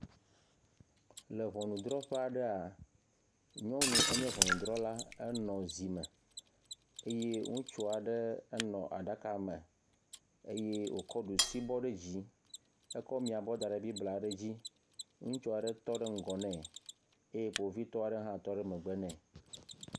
Le ŋɔnudrɔƒe aɖea, nyɔnu enye ŋŋnudrla henɔ zi me eye ŋutsua ɖe nɔ aɖaka me eye wokɔ ɖusi bɔ ɖe dzi, ekɔ miabɔ da ŋe blibla aɖe dzi. ŋutsua ɖe tɔ ɖe ŋgɔ ne, Kpovitɔa ɖe hã tɔ ɖɖ megbe ne.